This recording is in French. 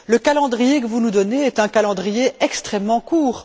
Le calendrier que vous nous donnez est un calendrier extrêmement court.